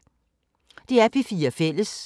DR P4 Fælles